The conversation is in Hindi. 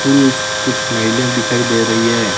पुरुष कुछ महिले दिखाई दे रई हैं।